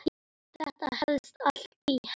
Þetta helst allt í hendur.